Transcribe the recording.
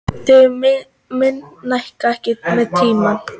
Þau minnka ekki með tímanum.